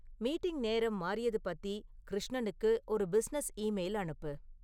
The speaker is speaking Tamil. மீட்டிங் நேரம் மாறியது பத்தி கிருஷ்ணனுக்கு ஒரு பிசினஸ் ஈமெயில் அனுப்பு